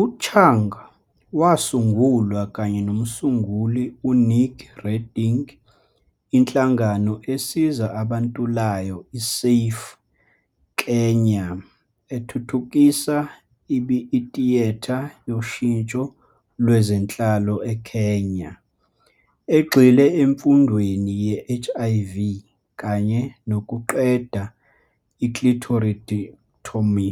U-Chung wasungulwa kanye nomsunguli u-Nick Reding inhlangano esiza abantulayo i-SAFE-Kenya ethuthukisa itiyetha yoshintsho lwezenhlalo eKenya, egxile emfundweni ye-HIV kanye nokuqeda i-clitoridectomy,